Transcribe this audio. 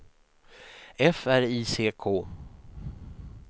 F R I C K